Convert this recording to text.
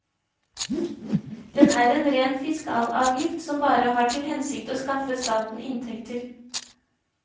Den er en ren fiskalavgift, som bare har til hensikt å skaffe staten inntekter.